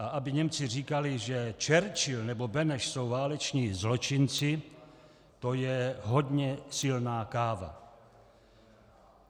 A aby Němci říkali, že Churchill nebo Beneš jsou váleční zločinci, to je hodně silná káva.